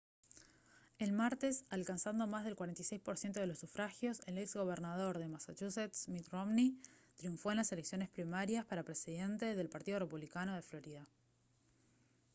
el martes alcanzando más del 46 % de los sufragios el ex gobernador de massachusetts mitt romney triunfó en las elecciones primarias para presidente del partido republicano de florida